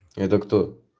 это кто